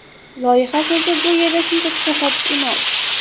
Loyiha so‘zi bu yerda shunchaki tasodif emas.